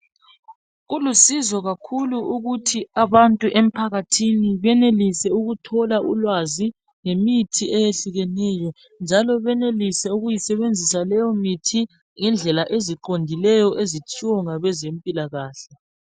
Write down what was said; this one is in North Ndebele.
Kulusizo kakhulu ukuthi abantu emphakathini benelise ukuthola ulwazi ngemithi eyehlukeneyo. Njalo benelise ukuyisebenzisa leyo mithi ngendlela eziqondileyo ezitshiwo ngabezempilakahle.